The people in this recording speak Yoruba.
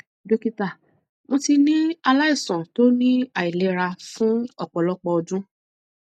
dókítà mo ti ní aláìsàn tó ní àìlera fún ọpọlọpọ ọdún